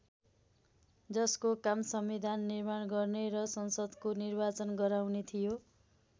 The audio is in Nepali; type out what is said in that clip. जसको काम संविधान निर्माण गर्ने र संसदको निर्वाचन गराउने थियो।